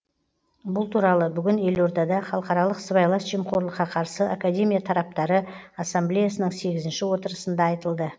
бұл туралы бүгін елордада халықаралық сыбайлас жемқорлыққа қарсы академия тараптары ассамблеясының сегізінші отырысында айтылды